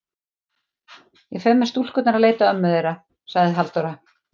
Ég fer með stúlkurnar að leita ömmu þeirra, sagði Halldóra.